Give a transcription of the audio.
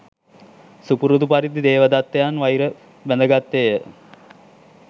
සුපුරුදු පරිදි දේවදත්තයන් වෛර බැඳගත්තේ ය.